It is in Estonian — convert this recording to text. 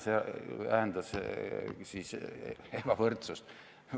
Siis kui vähendas, siis ebavõrdsust.